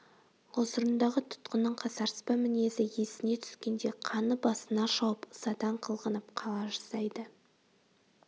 ғұзырындағы тұтқынның қасарыспа мінезі есіне түскенде қаны басына шауып ызадан қылғынып қала жаздайды